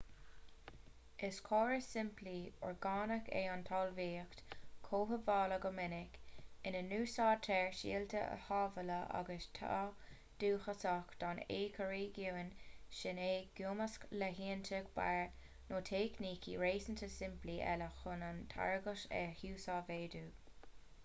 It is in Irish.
is córas simplí orgánach é an talmhaíocht chothabhála go minic ina n-úsáidtear síolta a sábháladh agus atá dúchasach don éiciréigiún sin i gcumasc le huainíocht barr nó teicnící réasúnta simplí eile chun an táirgeacht a uasmhéadú